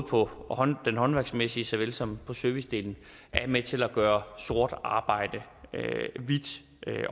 på den håndværksmæssige såvel som på servicedelen er med til at gøre sort arbejde hvidt